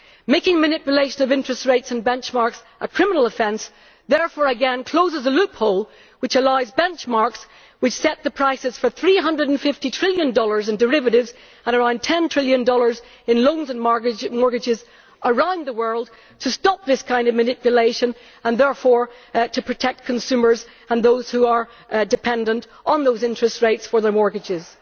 Making manipulation of interest rates and benchmarks a criminal offence therefore again closes a loophole which allows benchmarks which set the prices for USD 350 trillion in derivatives and around USD 10 trillion in loans and mortgages around the world, to stop this kind of manipulation and therefore to protect consumers and those who are dependent on those interest rates for their mortgages.